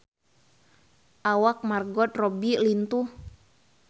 Awak Margot Robbie lintuh